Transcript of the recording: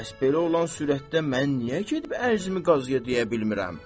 Bəs belə olan surətdə mən niyə gedib ərzimi qaziyə deyə bilmirəm?